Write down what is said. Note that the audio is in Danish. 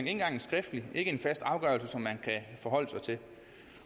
engang en skriftlig ikke en fast afgørelse som man kan forholde sig til